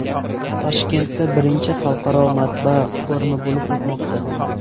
Toshkentda I Xalqaro matbaa forumi bo‘lib o‘tmoqda.